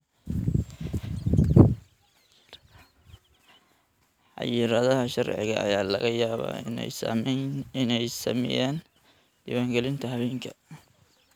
Xayiraadaha sharciga ayaa laga yaabaa inay saameeyaan diiwaangelinta haweenka.